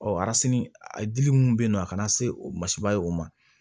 a dili min bɛ yen nɔ a kana se o masiba ye o ma